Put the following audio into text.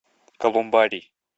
колумбарий